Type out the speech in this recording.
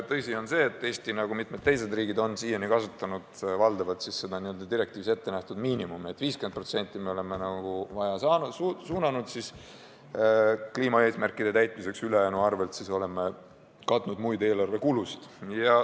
Tõsi on see, et Eesti nagu mitmed teisedki riigid on siiani kasutanud valdavalt direktiivis ette nähtud miinimumi: 50% oleme suunanud kliimaeesmärkide täitmiseks, ülejäänuga oleme katnud muid eelarvekulusid.